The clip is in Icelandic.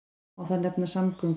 Má þar nefna samgöngur.